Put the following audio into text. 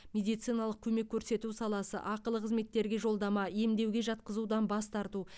медициналық көмек көрсету саласы ақылы қызметтерге жолдама емдеуге жатқызудан бас тарту